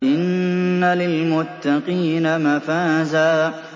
إِنَّ لِلْمُتَّقِينَ مَفَازًا